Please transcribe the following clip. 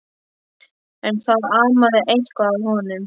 En það amaði eitthvað að honum.